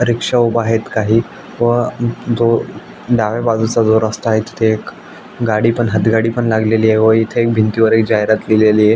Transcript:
रिक्षा उभा आहेत काही व अ दो डाव्या बाजुचा जो रस्ता आहे तिथे एक गाडी पन हातगाडी पण लागलेली आहे व इथे एक भिंतीवर एक जहिरात लिहलेलीय.